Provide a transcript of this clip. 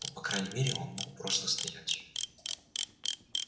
но по крайней мере он мог просто стоять